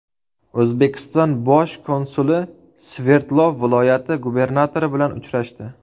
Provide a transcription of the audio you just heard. O‘zbekiston bosh konsuli Sverdlov viloyati gubernatori bilan uchrashdi.